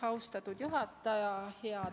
Austatud juhataja!